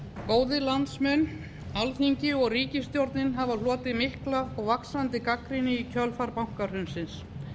góðir landsmenn alþingi og ríkisstjórnin hafa hlotið mikla og vaxandi gagnrýni í kjölfar bankahrunsins